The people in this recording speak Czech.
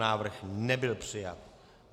Návrh nebyl přijat.